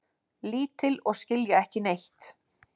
Lítil og skilja ekki neitt.